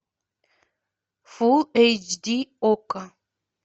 фулл эйч ди окко